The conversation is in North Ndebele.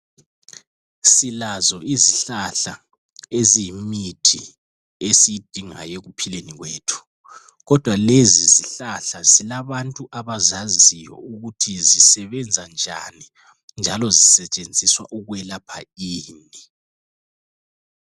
silazo izihlahla eziyimithi esiidingayo ekuphieni kwethu kodwa lezi zihlahla zilabantu abazaziyo ukuthi zisebenza njani njalo zisetshenziswa ukwelapha ini